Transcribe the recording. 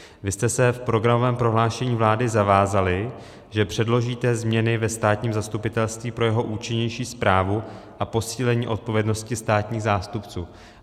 Vy jste se v programovém prohlášení vlády zavázali, že předložíte změny ve státním zastupitelství pro jeho účinnější správu a posílení odpovědnosti státních zástupců.